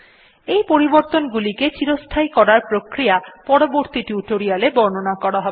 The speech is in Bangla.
এই পরিবর্তন গুলিকে চিরস্থায়ী করার প্রক্রিয়া পরবর্তী টিউটোরিয়াল এ বর্ণনা করা হবে